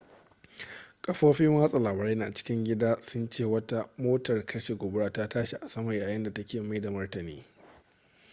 kafofin watsa labarai na cikin gida sun ce wata motar kashe gobara ta tashi a sama yayin da take mai da martani